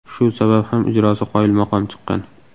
Shu sabab ham ijrosi qoyilmaqom chiqqan.